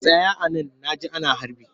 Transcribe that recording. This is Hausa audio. Tsaya a nan na ji ana harbi!